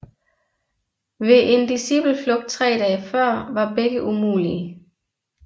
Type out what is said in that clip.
Ved en discipelflugt tre dage før var begge umulige